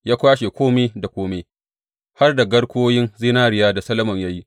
Ya kwashe kome da kome, har da garkuwoyin zinariyar da Solomon ya yi.